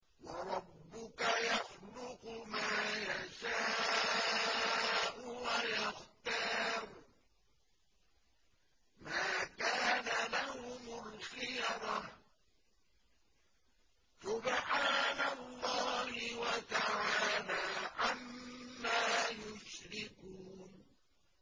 وَرَبُّكَ يَخْلُقُ مَا يَشَاءُ وَيَخْتَارُ ۗ مَا كَانَ لَهُمُ الْخِيَرَةُ ۚ سُبْحَانَ اللَّهِ وَتَعَالَىٰ عَمَّا يُشْرِكُونَ